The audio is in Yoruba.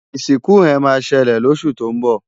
isinku he ma sele losu to nbo